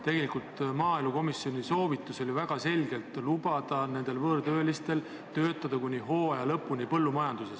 Tegelikult oli maaelukomisjoni väga selge soovitus lubada võõrtöölistel töötada põllumajanduses kuni hooaja lõpuni.